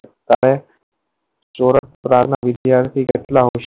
અને વિધ્યારતી કેટલા હોય